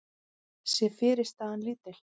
sé fyrirstaðan lítil.